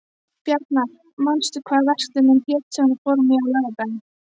Bjarnar, manstu hvað verslunin hét sem við fórum í á laugardaginn?